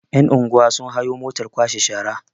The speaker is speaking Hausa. yan'unguwa sun hayo motar kwashe shara